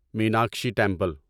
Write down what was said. Meenakshi temple